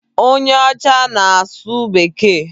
Onye ọcha ahụ na-asụ Bekee.